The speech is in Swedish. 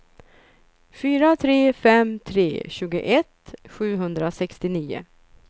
fyra tre fem tre tjugoett sjuhundrasextionio